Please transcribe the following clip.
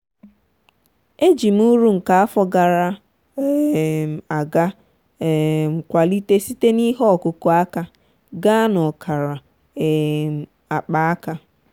eji m uru nke afọ gara um aga um kwalite site na ihe ọkụkụ aka gaa na ọkara um akpaaka.